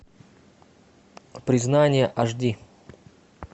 признание аш ди